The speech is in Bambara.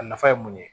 A nafa ye mun ye